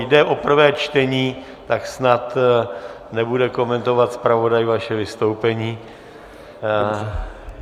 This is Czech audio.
Jde o prvé čtení, tak snad nebude komentovat zpravodaj vaše vystoupení.